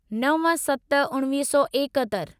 नव सत उणिवीह सौ एकहतरि